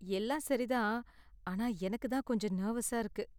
எல்லாம் சரி தான், ஆனா எனக்கு தான் கொஞ்சம் நெர்வஸா இருக்கு.